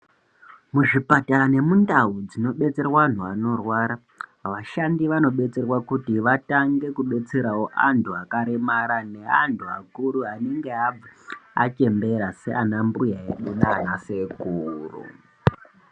Muzvipatara nemundau munodetserwa antu anorwara vashandi vanodetserwa kuti vatange kudetserawo antu akaremara neantu akuru anenge achembera Sean mbuya edu nana sekuru.